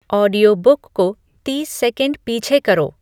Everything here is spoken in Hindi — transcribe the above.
ऑडियोबुक को तीस सेकंड पीछे करो